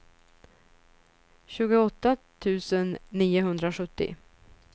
tjugoåtta tusen niohundrasjuttio